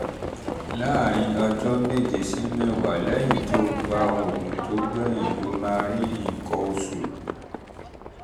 láàárín ọjọ́ méje sí mẹ́wàá lẹ́yìn tó gba um òògùn tó gbẹ̀yìn um ló máa rí nǹkan um oṣù